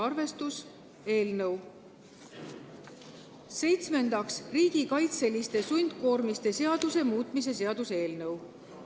Seitsmendaks, riigikaitseliste sundkoormiste seaduse muutmise seaduse eelnõu.